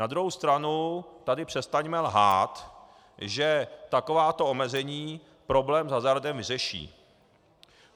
Na druhou strany tady přestaňme lhát, že takováto omezení problém s hazardem vyřeší.